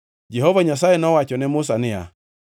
Jehova Nyasaye nowacho ne Musa niya,